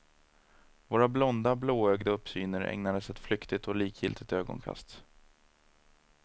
Våra blonda, blåögda uppsyner ägnades ett flyktigt och likgiltigt ögonkast.